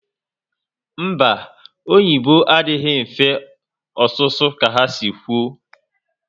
Mba, oyibo adịghị mfe ọsụsu ka ha si kwu